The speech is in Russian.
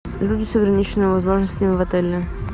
люди с ограниченными возможностями в отеле